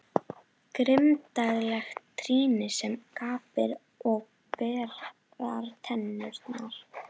Grimmdarlegt trýni sem gapir og berar tennurnar.